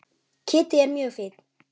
Kiddi er mjög fínn.